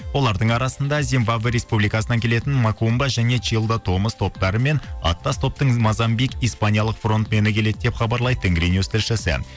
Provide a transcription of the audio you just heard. олардың арасында зинбаба республикасынан келетін макумба және чилда томас топтары мен аттас топтың мазамбик испаниялық фрондмені келеді деп хабарлайды тенгринюс тілшісі